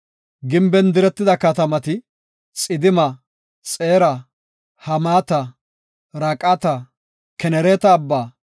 Gimben diretida katamati, Xidima, Xeera, Hamaata, Raqata, Kenereeta abba,